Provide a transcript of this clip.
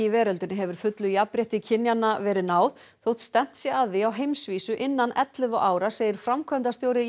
veröldinni hefur fullu jafnrétti kynjanna verið náð þótt stefnt sé að því á heimsvísu innan ellefu ára segir framkvæmdastjóri